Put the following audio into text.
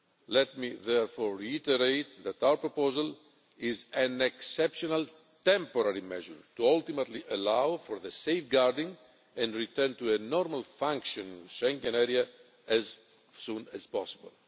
Let me therefore reiterate that our proposal is an exceptional temporary measure to ultimately allow for the safeguarding and return to a normally functioning Schengen Area as soon as possible.